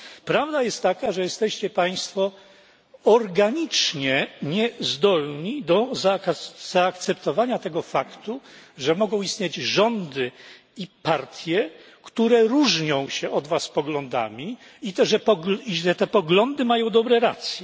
Prawda jest taka, że jesteście Państwo organicznie niezdolni do zaakceptowania tego faktu, że mogą istnieć rządy i partie, które różnią się od was poglądami i że te poglądy mają dobre racje.